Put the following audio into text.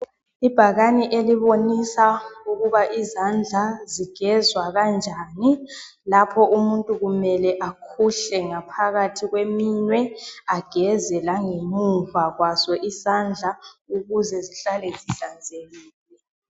Ibhakane elibonisa ukubana izandla zigezwa kanjani lapho umuntu kumele akhuhle ngaphakathi kweminwe, ageze langemuva kwaso isandla ukuze zihlale zihlanzekile.